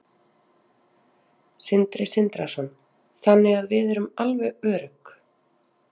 Sindri Sindrason: Þannig að við erum alveg örugg?